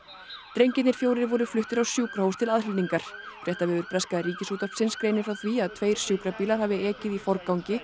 drengirnir fjórir voru fluttir á sjúkrahús til aðhlynningar fréttavefur breska Ríkisútvarpsins greinir frá því að tveir sjúkrabílar hafi ekið í forgangi